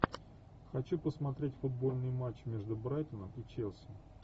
хочу посмотреть футбольный матч между брайтоном и челси